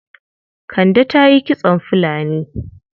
Kande ta yi kitson fulani.